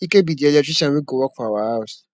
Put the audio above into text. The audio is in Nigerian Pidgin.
ike be the electrician wey go work for our house